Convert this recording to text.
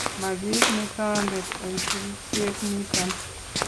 Ma kiit ne tondet en sirityeet niton .